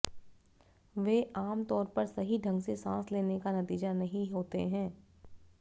वे आमतौर पर सही ढंग से सांस लेने का नतीजा नहीं होते हैं